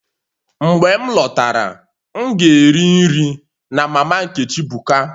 Mgbe m lọtara, m ga-eri nri na mama Nkechi buka